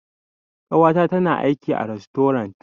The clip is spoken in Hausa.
Ƙawata tana aiki a rastorant.